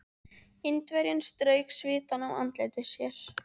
Indverjinn strauk svitann af andliti sér.